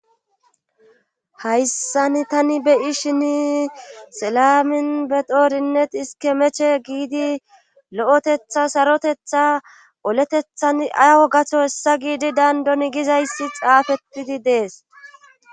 hayssani tani be'ishini selamin be xoorinnet iske meche giidi lo'etetha sarotetha oletethan awa gaso hessa giidi dandon gizayssi xaafettidi dees